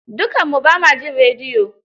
Dukanmu ba ma jin rediyo.